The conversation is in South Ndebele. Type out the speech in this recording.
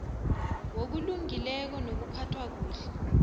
wokulungileko nokuphathwa kuhle